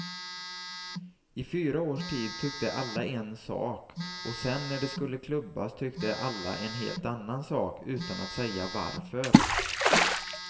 I fyra års tid tyckte alla en sak och sen när det skulle klubbas tyckte alla en helt annan sak utan att säga varför.